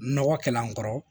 Nɔgɔ kɛl'an kɔrɔ